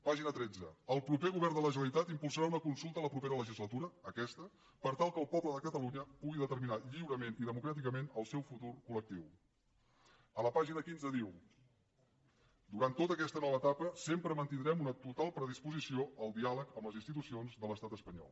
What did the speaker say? pàgina tretze el proper govern de la generalitat impulsarà una consulta la propera legislatura aquesta per tal que el poble de catalunya pugui determinar lliurement i democràticament el seu futur col·a la pàgina quinze diu durant tota aquesta nova etapa sempre mantindrem una total predisposició al diàleg amb les institucions de l’estat espanyol